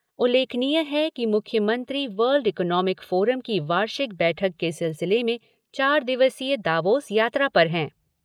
उल्लेखनीय है कि मुख्यमंत्री वर्ल्ड इकॉनोमिक फोरम की वार्षिक बैठक के सिलसिले में चार दिवसीय दावोस यात्रा पर हैं।